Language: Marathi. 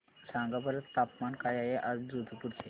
सांगा बरं तापमान काय आहे आज जोधपुर चे